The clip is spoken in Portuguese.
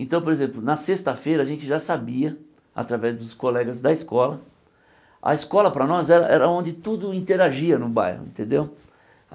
Então, por exemplo, na sexta-feira a gente já sabia, através dos colegas da escola, a escola para nós era era aonde tudo interagia no bairro, entendeu?